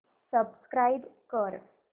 subscribe कर